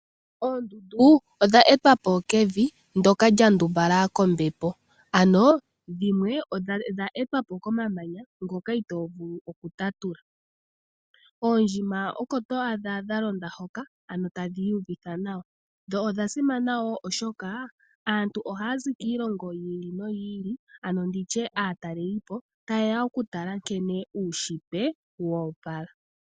Oondundu odha etwa po kevi ndyoka lya ndumbala kombepo, ano dhimwe odha etwa po komamanya ngoka itoo vulu okutatula. Oondjima oko to adha dha londa hoka, ano tadhi iyuvitha nawa, dho odha simana wo oshoka aantu ohaya zi kiilongo yi ili noyi ili, ano ndi tye aatalelipo taye ya okutala nkene uunshitwe wo opala.